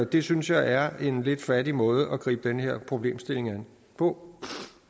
det synes jeg er en lidt fattig måde at gribe den her problemstilling an på